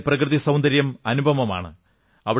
അവിടത്തെ പ്രകൃതി സൌന്ദര്യം അനുപമമാണ്